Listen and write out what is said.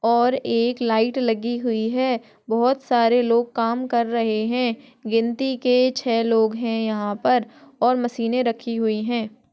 और एक लाइट लगी हुई है बहुत सारे लोग काम कर रहे है गिनती के छह लोग है यहाँ पर और मशीने रखी हुई है।